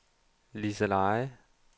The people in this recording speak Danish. Liseleje